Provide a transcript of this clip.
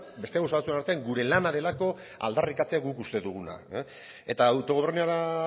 beste gauza batzuen artean gure lana delako aldarrikatzea guk uste duguna eta autogobernura